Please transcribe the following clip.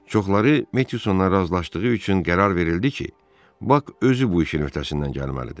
Çoxları Metyusanla razılaşdığı üçün qərar verildi ki, Bak özü bu işin öhdəsindən gəlməlidir.